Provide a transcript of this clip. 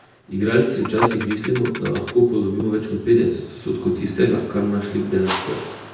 Igralci včasih mislimo, da lahko upodobimo več kot petdeset odstotkov tistega, kar naš lik dejansko je.